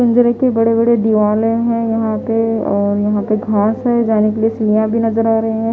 बड़े-बड़े दीवाले हैं यहां पे और यहां पे घांस है जाने के लिए सिलियां भी नजर आ रही है।